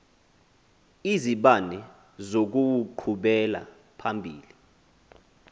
izibane zokuwuqhubela phambili